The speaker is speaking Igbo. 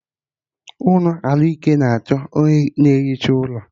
Ụlọ ahụike na achọ onye na ehicha ụlọ